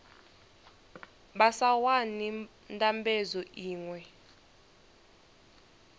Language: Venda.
vha sa wani ndambedzo iṅwe